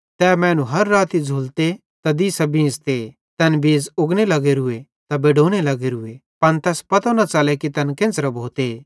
तै मैनू हर राती झ़ुलते त दिसां बींझ़ते तैन बीज़ उगने लग्गोरूए त बडोने लग्गोरूए पन तैस पतो न च़ले कि तैन केन्च़रां भोते